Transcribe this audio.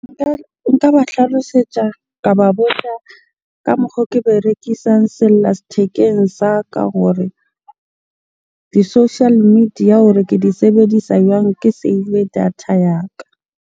Nka ba tlhalosetsa, ka ba botsa ka mokgo ke berekisang sellathekeng sa ka gore di-social media hore ke di sebedisa jwang? Ke save data ya ka.